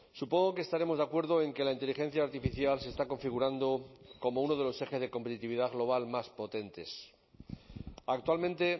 supongo que estaremos de acuerdo en que la inteligencia artificial se está configurando como uno de los ejes de competitividad global más potentes actualmente